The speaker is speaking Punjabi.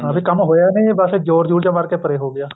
ਹਾਂ ਵੀ ਕੰਮ ਹੋਇਆ ਨੀ ਬੱਸ ਜ਼ੋਰ ਜੂਰ ਜਾ ਮਾਰਕੇ ਪਰੇ ਹੋਗਿਆ